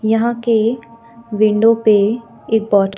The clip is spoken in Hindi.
यहां के विंडो पे एक बो--